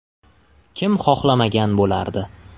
Kim xohlamagan bo‘lardi?